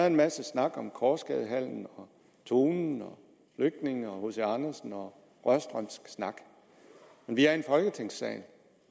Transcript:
en masse snak om korsgadehallen tonen og flygtninge og hc andersen og rørstrømsk snak men vi er i folketingssalen